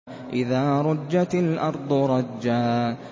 إِذَا رُجَّتِ الْأَرْضُ رَجًّا